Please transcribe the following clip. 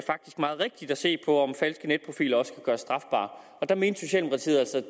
meget rigtigt at se på om falske netprofiler også kan gøres strafbare og der mente socialdemokratiet altså at